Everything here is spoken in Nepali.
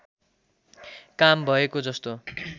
काम भएको जस्तो